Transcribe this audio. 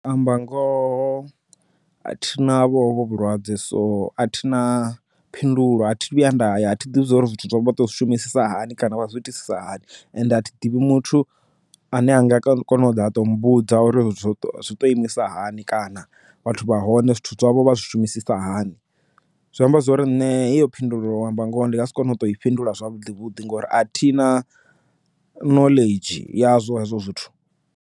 U amba ngoho thi na vho hovhu vhulwadze so a thina phindulo a thi thu vhuya nda ya athi ḓivhi zwori zwithu zwo vha to zwi shumisa hani kana vha zwi itisa hani and athi ḓivhi muthu ane a nga kona u ḓa a to mmbudza uri zwithu zwi to imisa hani kana vhathu vha hone zwithu zwavho vha zwi shumisisa hani zwi amba zwori nne heyo phindulo uto amba ngoho ndi nga si kone u to i fhindula zwavhuḓi vhuḓi ngori a thina knowledge yazwo hezwo zwithu.